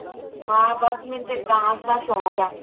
ਹਾਂ ਬਸ ਮੈਨੂੰ ਤਾ dance ਦਾ ਸ਼ੋਂਕ ਹੈ